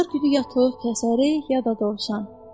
Bazar günü ya toyuq kəsərik, ya da dovşan.